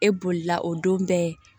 E bolila o don bɛɛ